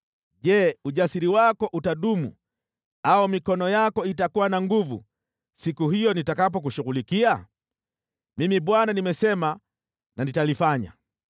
Je, ujasiri wako utadumu au mikono yako itakuwa na nguvu siku hiyo nitakapokushughulikia? Mimi Bwana nimesema na nitalifanya.